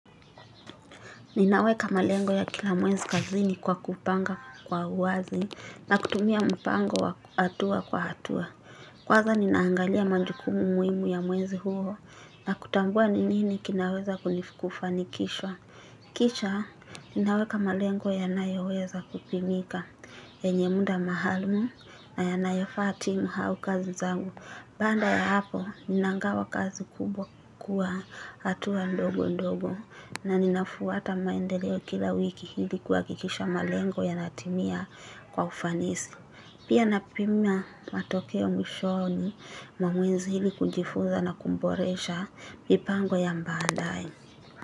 Ninaweka malengo ya kila mwezi kazini kwa kupanga kwa uwazi na kutumia mpango wa hatua kwa hatua. Kwanza ninaangalia majukumu muhimu ya mwezi huo na kutambua ni nini kinaweza kufanikishwa. Kisha, ninaweka malengo yanayoweza kupimika yenye muda maalum na yanayofaa timu au kazi zangu. Baada ya hapo, ninagawa kazi kubwa kwa hatua ndogo ndogo na ninafuata maendeleo kila wiki ili kuhakikisha malengo yanatimia kwa ufanisi. Pia napima matokeo mwishoni mwa mwezi ili kujifunza na kuboresha mipango ya baadaye.